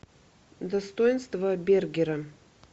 достоинство бергера